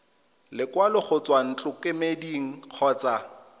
lekwalo go tswa ntlokemeding kgotsa